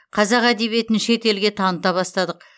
қазақ әдебиетін шет елге таныта бастадық